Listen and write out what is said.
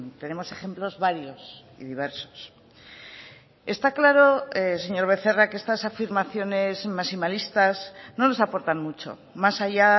tenemos ejemplos varios y diversos está claro señor becerra que estas afirmaciones maximalistas no nos aportan mucho más allá